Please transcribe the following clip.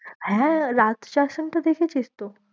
হ্যাঁ, রাত্রি আশ্রম টা দেখেছিস তো?